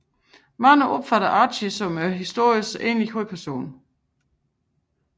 Mange opfatter Archie som historiernes egentlige hovedperson